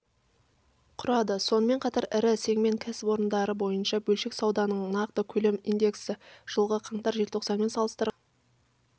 құрады сонымен қатар ірі сегмент кәсіпорындары бойынша бөлшек сауданың нақты көлем индексі жылғы қаңтар-желтоқсанмен салыстырғанда